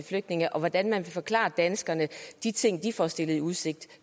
flygtninge og hvordan man vil forklare danskerne de ting de får stillet i udsigt